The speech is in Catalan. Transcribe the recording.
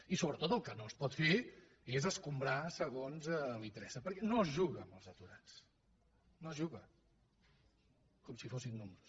i sobretot el que no es pot fer és escombrar segons li interessa perquè no es juga amb els aturats no s’hi juga com si fossin números